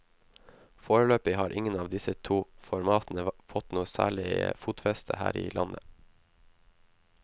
Foreløpig har ingen av disse to formatene fått noe særlig fotfeste her i landet.